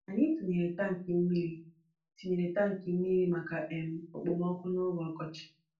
Anyị tinyere tankị mmiri tinyere tankị mmiri maka um okpomọkụ n'oge ọkọchị